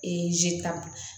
zita